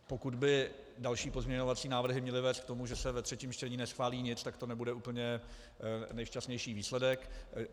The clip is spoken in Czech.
Pokud by další pozměňovací návrhy měly vést k tomu, že se ve třetím čtení neschválí nic, tak to nebude úplně nejšťastnější výsledek.